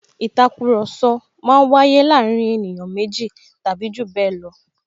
Ìtakùrọ̀sọ máa ń waye láàárín ènìyàn méjì tàbí jù bẹẹ lọ